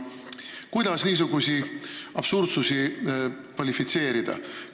Kuidas niisuguseid absurdsusi kvalifitseerida?